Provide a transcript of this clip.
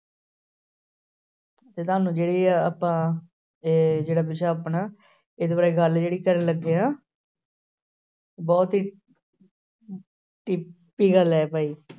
ਤੇ ਤੁਹਾਨੂੰ ਜਿਹੜੀ ਇਹ ਆਪਾਂ ਇਹ ਜਿਹੜਾ ਵਿਸ਼ਾ ਆਪਣਾ ਇਸ ਬਾਰੇ ਗੱਲ ਜਿਹੜੀ ਕਰਨ ਲੱਗੇ ਹਾਂ ਬਹੁਤ ਹੀ ਗੱਲ ਹੈ ਭਾਈ।